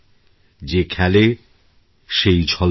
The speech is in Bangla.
যে খেলে সেই ঝলমল করে